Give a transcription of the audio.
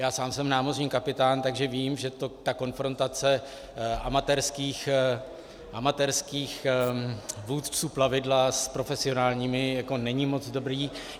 Já sám jsem námořní kapitán, takže vím, že ta konfrontace amatérských vůdců plavidla s profesionálními není moc dobrá.